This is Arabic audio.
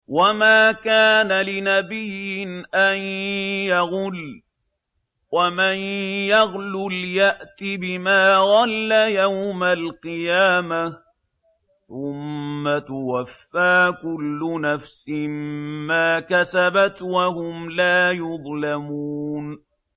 وَمَا كَانَ لِنَبِيٍّ أَن يَغُلَّ ۚ وَمَن يَغْلُلْ يَأْتِ بِمَا غَلَّ يَوْمَ الْقِيَامَةِ ۚ ثُمَّ تُوَفَّىٰ كُلُّ نَفْسٍ مَّا كَسَبَتْ وَهُمْ لَا يُظْلَمُونَ